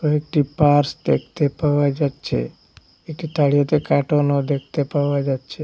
কয়েকটি পার্টস দেখতে পাওয়া যাচ্ছে এটি তাড়িয়াতে কাটুন দেখতে পাওয়া যাচ্ছে।